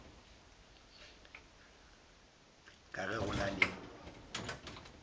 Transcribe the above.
ka ge go na le